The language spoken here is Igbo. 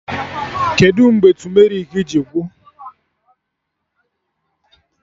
Kedụ mgbe tumerik ji gwụ?